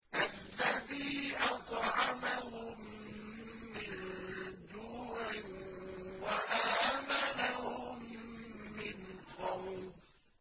الَّذِي أَطْعَمَهُم مِّن جُوعٍ وَآمَنَهُم مِّنْ خَوْفٍ